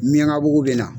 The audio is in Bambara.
Miɲankabugu bɛ na